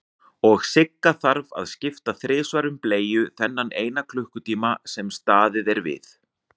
Og Sigga þarf að skipta þrisvar um bleiu þennan eina klukkutíma sem staðið er við.